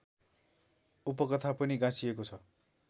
उपकथा पनि गाँसिएको छ